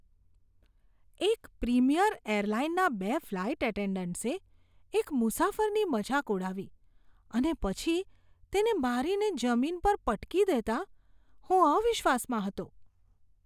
એક પ્રીમિયર એરલાઈનના બે ફ્લાઈટ એટેન્ડન્ટ્સે એક મુસાફરની મજાક ઉડાવી અને પછી તેને મારીને જમીન પર પટકી દેતાં હું અવિશ્વાસમાં હતો.